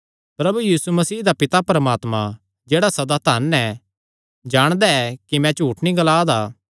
प्रभु यीशु मसीह दा पिता परमात्मा जेह्ड़ा सदा धन ऐ जाणदा ऐ कि मैं झूठ नीं ग्लांदा